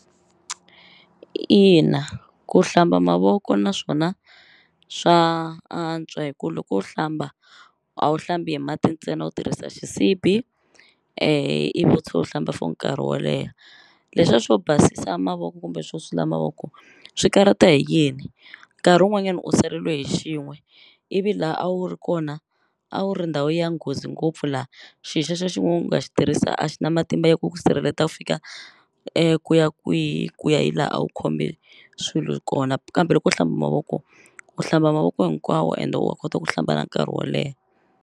Ina ku hlamba mavoko naswona swa antswa hi ku loko u hlamba a wu hlambi hi mati ntsena u tirhisa xisibi ivi u tshe u hlamba for nkarhi wo leha leswiya swo basisa mavoko kumbe swo sula mavoko swi karata hi yini nkarhi wun'wanyani u saleliwe hi xin'we ivi la a wu ri kona a wu ri ndhawu ya nghozi ngopfu la xi xexe xin'we u nga xi tirhisa a xi na matimba ya ku ku sirheleta u fika ku ya kwihi ku ya hi la a wu khome swilo hi kona kambe loko u hlamba mavoko u hlamba mavoko hinkwawo ende wa kota ku hlamba na nkarhi wo leha.